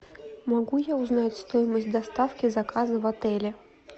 могу я узнать стоимость доставки заказа в отеле